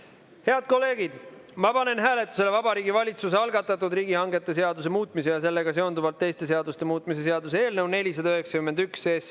Head kolleegid, ma panen hääletusele Vabariigi Valitsuse algatatud riigihangete seaduse muutmise ja sellega seonduvalt teiste seaduste muutmise seaduse eelnõu 491.